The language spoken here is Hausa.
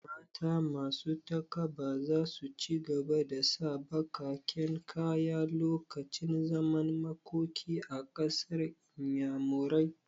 Mata masu takaba za su ci gaba da sa baƙaƙen kaya lokacin zaman makoki a ƙasar inyamurai